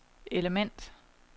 element